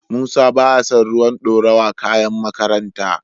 Musa baya son ruwan dorawar kayan makaranta.